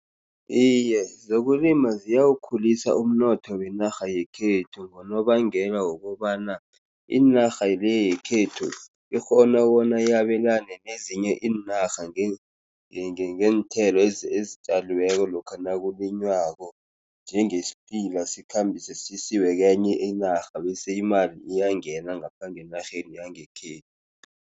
Iye, zokulima ziyawukhulisa umnotho wenarha yekhethu, ngonobangela wokobana inarha le yekhethu ikghona bona yabelane nezinye iinarha ngeenthelo ezitjaliweko lokha nakulinywako, njengesiphila sizikhambiswe sisiwe kwenye inarha, bese imali iyangena ngapha ngenarheni yangekhethu.